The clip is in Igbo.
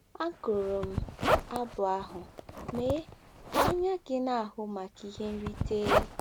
Agụrụ m abụ ahụ “ Mee Ka Anya Gị Na-ahụ Maka Ihe Nrite !”